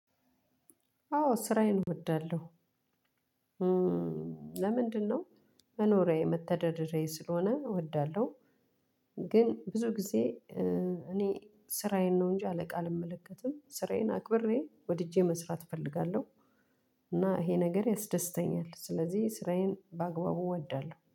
አዎ ስራዬን እወዳለሁ። ለምንድነው? መኖሪያዬ መተዳደራ ስለሆነ እወዳለሁ። ግን ብዙ ጊዜ እኔ ስራዬን ነው እንጂ አለቃ አልመለከትም ስራዬን አክብሬ ወድጄ መስራት እፈልጋለሁ። እና ይሄ ነገር ያስደስተኛል ስለዚህ ስራዬን በአግባቡ እወዳለሁ